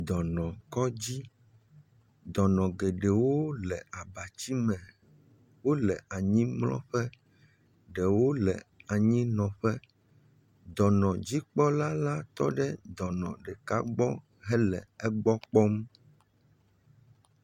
Dɔnɔkɔdzi. Dɔnɔ geɖewo le abatsi me. Wo le anyimlɔƒe. Ɖewo le anyinɔƒe. Dɔnɔdzikpɔla la tɔ ɖe dɔnɔ ɖeka gbɔ hele egbɔ kpɔm.